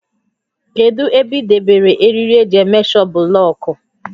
Kedụ ebe ị debere eriri eji éméshọ bụlọọkụ?